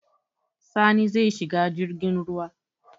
Sani zai shiga jirgin ruwa.